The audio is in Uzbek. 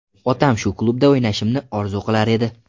Otam shu klubda o‘ynashimni orzu qilar edi.